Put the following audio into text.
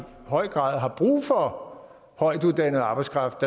høj grad har brug for højtuddannet arbejdskraft